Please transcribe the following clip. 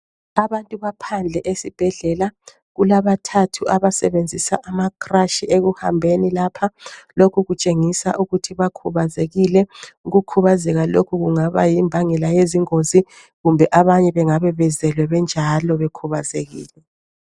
Abantu baphandle esibhedlela kulabathathu abasebenzisa amacrash ekuhambeni lapha lokhu kutshengisa ukuthi bakhubazekile, ukukhubazeka lokhu kungabe yimbangela yezingozi kumbe abanye bengabe bezelwe benjalo bekhubazekile.